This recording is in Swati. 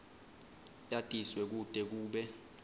yatiswe kute kube